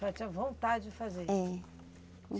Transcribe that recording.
A senhora tinha vontade de fazer? É.